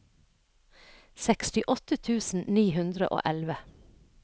sekstiåtte tusen ni hundre og elleve